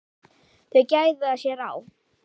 Þau gæða sér á